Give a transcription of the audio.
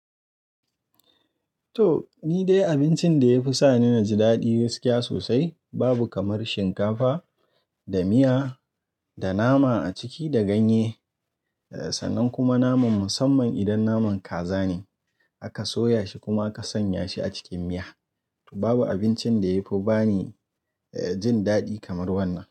To, ni dai abincin da ya fi sa ni naji daɗi gaskiya sosai babu kamar shinkafa da miya da nama a ciki da ganye, sannan kuma naman musamman idan naman kaza ne aka soya shi kuma aka sanya shi a cikin miya. To babu abincin da ya fi ba ni, eh, jin daɗi kamar wannan.